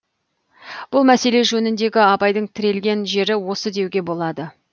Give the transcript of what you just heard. бұл мәселе жөніндегі абайдың тірелген жері осы деуге болады